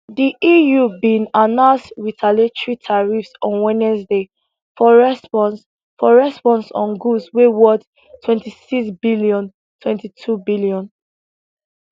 di eu bin announce retaliatory tariffs on wednesday for response for response on goods wey worth twenty six billion twenty two billion